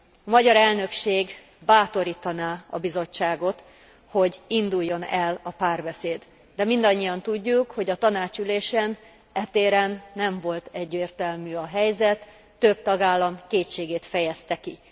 A magyar elnökség bátorítaná a Bizottságot, hogy induljon el a párbeszéd, de mindannyian tudjuk, hogy a Tanács ülésén e téren nem volt egyértelmű a helyzet, több tagállam kétségét fejezte ki.